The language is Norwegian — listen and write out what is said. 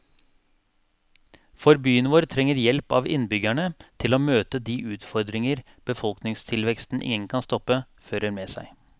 For byen vår trenger hjelp av innbyggerne til å møte de utfordringer befolkningstilveksten ingen kan stoppe, fører med seg.